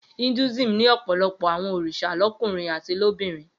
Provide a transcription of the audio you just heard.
Hinduism ní ọ̀pọ̀lọpọ̀ àwọn òrìṣà lọ́kùnrin àti lóbìnrin.